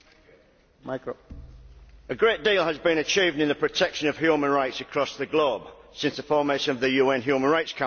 Mr President, a great deal has been achieved in the protection of human rights across the globe since the formation of the UN Human Rights Council.